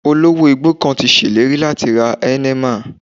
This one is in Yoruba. Olówó igbó kan ti ṣèlérí láti ra Heineman